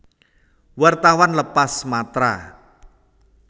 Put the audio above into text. Wartawan lepas Matra